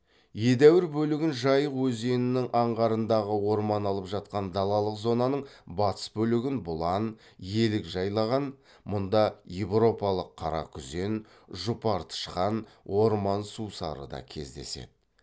едәуір бөлігін жайық өзенінің аңғарындағы орман алып жатқан далалық зонаның батыс бөлігін бұлан елік жайлаған мұнда европалық қара күзен жұпар тышқан орман сусары да кездеседі